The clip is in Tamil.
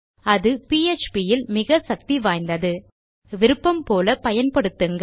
அது பிஎச்பி இல் மிக சக்தி வாய்ந்தது விருப்பம்போல பயன்படுத்துங்கள்